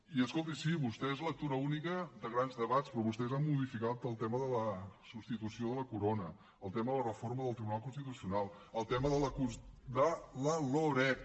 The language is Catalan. i escolti sí vostès lectura única de grans debats però vostès han modificat el tema de la substitució de la corona el tema de reforma del tribunal constitucional el tema de la loreg